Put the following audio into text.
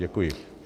Děkuji.